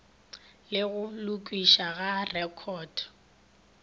le go lokišwa ga rekhoto